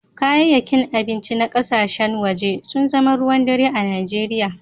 Kayayyakin abinci na kasashen waje sun zama ruwan dare a Najeriya.